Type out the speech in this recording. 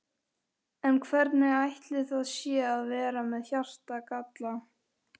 En hvernig ætli það sé að vera með hjartagalla?